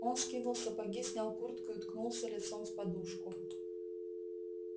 он скинул сапоги снял куртку и уткнулся лицом в подушку